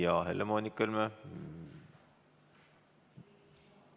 Jah, Helle-Moonika Helme!